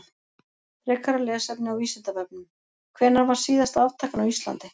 Frekara lesefni á Vísindavefnum: Hvenær var síðasta aftakan á Íslandi?